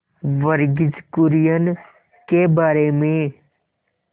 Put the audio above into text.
वर्गीज कुरियन के बारे में